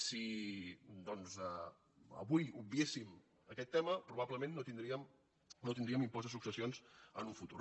si doncs avui obviéssim aquest tema probablement no tindríem impost de successions en un futur